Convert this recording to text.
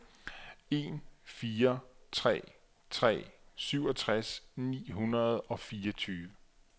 en fire tre tre syvogtres ni hundrede og fireogtyve